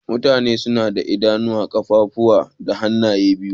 Mutane suna da Idanu, kunuwa, kaffafuwa da hanaye biyu.